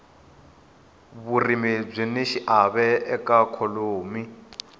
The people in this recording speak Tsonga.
vurimi byini xiave ka ikhonomi